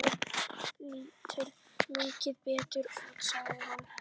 Þú lítur miklu betur út, sagði hún.